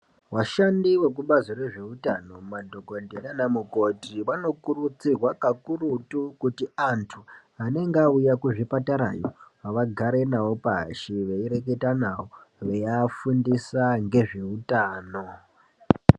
Vashandi vekubazi rezveutano, madhokodheya naanamukoti, vanokurudzirwa kakurutu ,kuti vantu anenge vauya kuzvipatara iyo vagare navo pashi ,veireketa navo veiafundisa ngezveutano